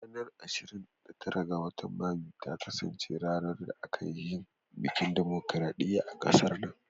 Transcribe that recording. Ranar ashirin da tara ga watan Mayu ta kasance ranar da aka yin bikin dimokradiyya a kasar nan.